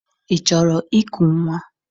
Ị chọrọ iku nnwa?